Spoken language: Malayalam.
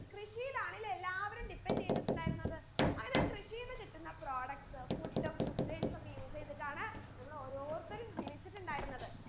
കൃഷിയിലാണല്ലേ എല്ലാവരും depend എയ്തിട്ടുണ്ടായിരുന്നത് അങ്ങനെ കൃഷിയിൽ നിന്ന് കിട്ടുന്ന products food food grains ഒക്കെ use എയ്തിട്ടാണ് നമ്മൾ ഓരോരുത്തരും ജീവിച്ചിട്ടുണ്ടായിരുന്നത്